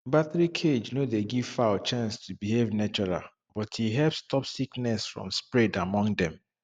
battery cage no dey give fowl chance to behave natural but e help stop sickness from spread among dem